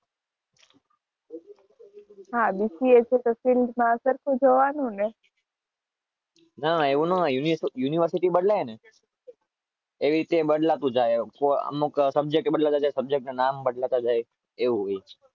હા બીસીએ છે એ પછી ના ના એવું ના હોય યુનિવર્સિટી બદલે ને